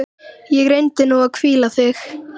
Og reyndu nú að hvíla þig.